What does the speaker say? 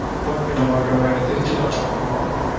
okay ma'am, okay ma'am. எனக்குத் திருச்சி தான் பக்கம்.